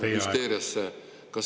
Teie aeg!